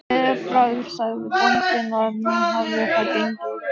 Með gleðibragði sagði bóndinn að nú hefði það gengið.